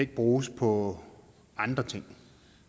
ikke bruges på andre ting